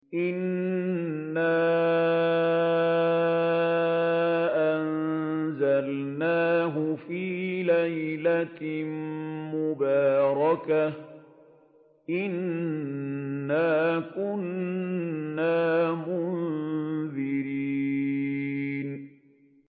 إِنَّا أَنزَلْنَاهُ فِي لَيْلَةٍ مُّبَارَكَةٍ ۚ إِنَّا كُنَّا مُنذِرِينَ